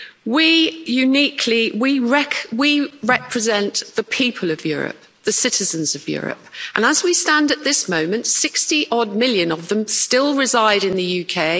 We uniquely represent the people of Europe, the citizens of Europe and, as we stand at this moment, 60 odd million of them still reside in the UK.